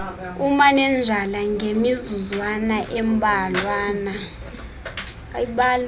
umanenjala ngemizuzwana embalwana